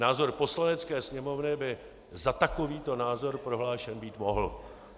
Názor Poslanecké sněmovny by za takovýto názor prohlášen být mohl.